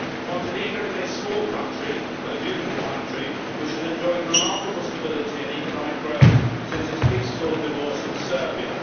Montenegro is a small country but a beautiful country, which has enjoyed remarkable stability and economic growth since its peaceful divorce from Serbia.